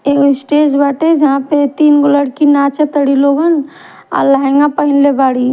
एगो स्टेज बाटे जहां पर तीन गो लाइकी नाचता और लहंगा पेनहले --